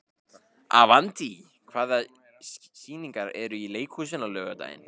Avantí, hvaða sýningar eru í leikhúsinu á laugardaginn?